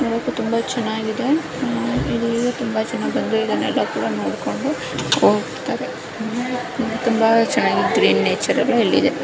ನೋಡೋಕೆ ತುಂಬಾ ಚೆನ್ನಾಗಿ ಇದೆ ಆ-- ಇದು ತುಂಬಾ ಚೆನ್ನಾಗಿ ಬಂದು ಇದೆ ಎಲ್ಲಾ ಕೂಡ ನೋಡ್ಕೊಂಡು ಹೋಗ್ತಾರೆ ಇನ್ನೂ ತುಂಬಾ ಚೆನ್ನಾಗಿ ಇದ್ದರೆ ನೇಚರ್ ಇಲ್ಲಿ ಇದೆ.